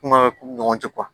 Kuma ɲɔgɔn tɛ